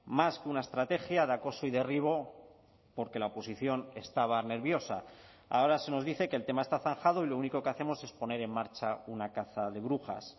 más que una estrategia de acoso y derribo porque la oposición estaba nerviosa ahora se nos dice que el tema está zanjado y lo único que hacemos es poner en marcha una caza de brujas